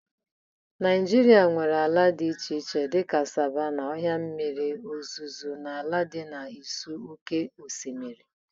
Naijiria nwere ala dị iche iche dị ka savannas, ọhịa mmiri ozuzo na ala dị n'ụsọ oké osimiri.